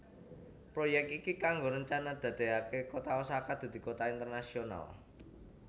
Proyek iki kanggo rencana dadeake kota Osaka dadi kota internasional